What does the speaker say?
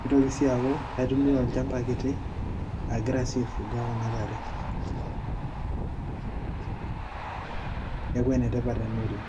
nitoki sii aaku kaitumia olchamba kiti agira ai fuga kuna tare [break] neaku enetipat ena oleng.